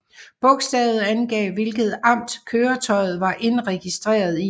Bogstavet angav hvilket amt køretøjet var indregistreret i